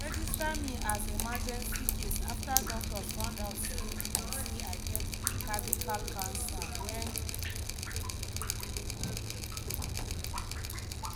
"dem register me as emergency case after doctors find out say i say i get cervical cancer wen